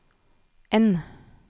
N